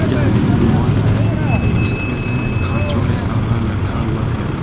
यह एक माल है जिसमें से खांचो में सामान रखा हुआ है।